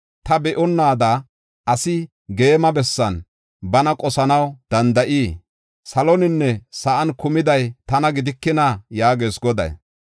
Ta be7onnaada, asi geema bessan bana qosanaw danda7ii? Saloninne sa7an kumiday tana gidikina?” yaagees Goday.